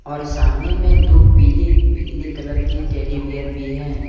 और सामने में दो पीले पीले कलर के टेडी बियर भी है।